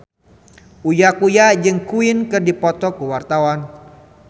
Uya Kuya jeung Queen keur dipoto ku wartawan